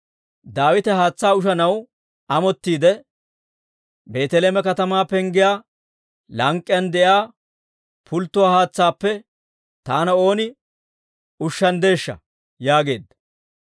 Daawite haatsaa ushanaw amottiide, «Beeteleeme katamaa penggiyaa lank'k'iyaan de'iyaa pulttuwaa haatsaappe taana ooni ushshanddeeshsha!» yaageedda.